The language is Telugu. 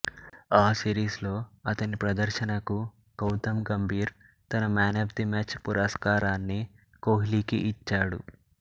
ఆ సీరీస్ లో అతని ప్రదర్శనకు గౌతమ్ గంభీర్ తన మాన్ అఫ్ ది మ్యాచ్ పురస్కారాన్ని కోహ్లికి ఇచ్చాడు